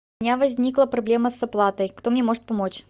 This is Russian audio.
у меня возникла проблема с оплатой кто мне может помочь